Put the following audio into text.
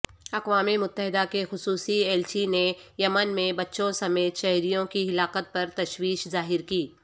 اقوام متحدہ کےخصوصی ایلچی نےیمن میں بچوں سمیت شہریوں کی ہلاکت پرتشویش ظاہرکی